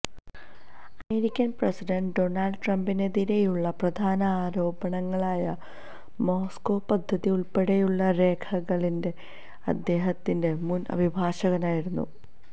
American president Donald ട്രംപിനെതിരെയുള്ള പ്രധാന ആരോപണങ്ങളായ മോസ്കൊ പദ്ധതിയുടെ ഉള്പ്പടെയുള്ള രേഖകള് അദ്ദേഹത്തിന്റെ മുന് അഭിഭാഷകനായിരുന്ന